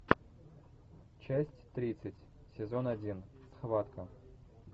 часть тридцать сезон один схватка